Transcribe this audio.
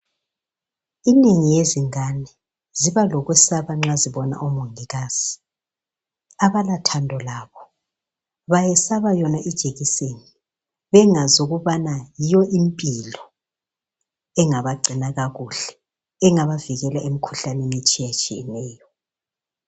Inengi yezingane ,ziba lokusaba nxa zibona omongikazi. Abalathando labo bayesaba yona ijekiseni, bengazi ukubana yiyo impilo. Engabagcina kakuhle engabavikela emikhuhlaneni etshiyatshiyeneyo.